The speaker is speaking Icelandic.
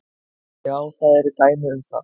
Já, það eru dæmi um það.